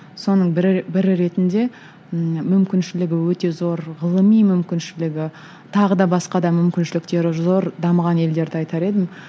соның бірі бірі ретінде ііі мүмкіншілігі өте зор ғылыми мүмкіншілігі тағы да басқа да мүмкіншіліктері зор дамыған елдерді айтар едім